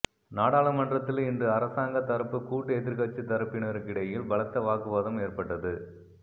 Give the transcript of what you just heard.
நாடாளுமன்றத்தில் இன்று அரசாங்கத் தரப்பு கூட்டு எதிர்க்கட்சி தரப்பினருக்கிடையில் பலத்த வாக்குவாதம் ஏற்பட்டது